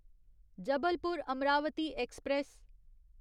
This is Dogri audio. जबलपुर अमरावती एक्सप्रेस